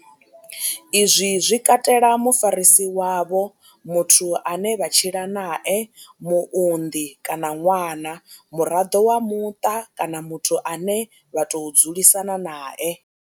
Izwi zwi katela mufarisi wavho, muthu ane vha tshila nae, muunḓi kana ṅwana, muraḓo wa muṱa kana muthu ane vha tou dzulisana nae.